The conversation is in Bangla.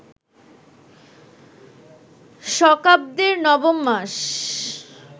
শকাব্দের নবম মাস